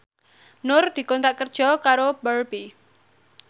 Nur dikontrak kerja karo Barbie